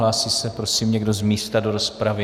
Hlásí se prosím někdo z místa do rozpravy?